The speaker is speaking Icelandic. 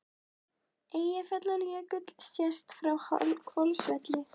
Eyjafjallajökull sést frá Hvolsvelli.